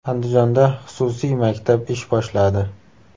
Andijonda xususiy maktab ish boshladi.